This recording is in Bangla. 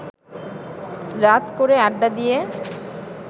রাত করে আড্ডা দিয়ে